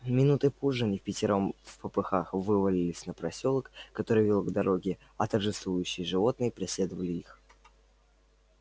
минутой позже они впятером впопыхах вывалились на просёлок который вёл к дороге а торжествующие животные преследовали их